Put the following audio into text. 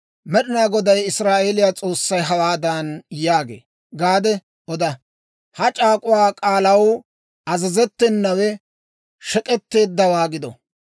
Med'inaa Goday Israa'eeliyaa S'oossay hawaadan yaagee gaade oda. Ha c'aak'uwaa k'aalaw azazettenawe shek'k'etteeddawaa gido.